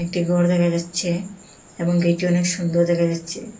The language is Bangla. একটি ঘর দেখা যাচ্ছে এবং গেটটি অনেক সুন্দর দেখা যাচ্ছে।